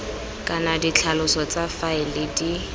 kana ditlhaloso tsa faele di